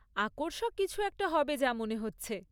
আকর্ষক কিছু একটা হবে যা মনে হচ্ছে।